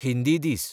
हिंदी दीस